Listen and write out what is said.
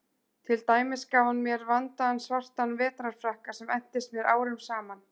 Til dæmis gaf hann mér vandaðan svartan vetrarfrakka sem entist mér árum saman.